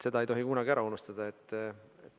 Seda ei tohi kunagi ära unustada.